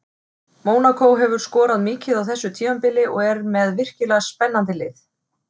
Mónakó hefur skorað mikið á þessu tímabili og er með virkilega spennandi lið.